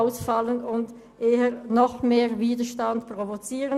Das wird wohl eher noch mehr Widerstand provozieren.